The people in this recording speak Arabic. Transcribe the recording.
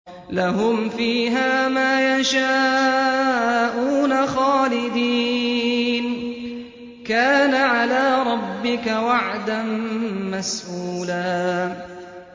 لَّهُمْ فِيهَا مَا يَشَاءُونَ خَالِدِينَ ۚ كَانَ عَلَىٰ رَبِّكَ وَعْدًا مَّسْئُولًا